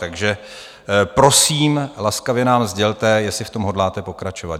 Takže prosím, laskavě nám sdělte, jestli v tom hodláte pokračovat.